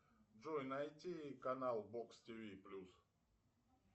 джой найди канал бокс тв плюс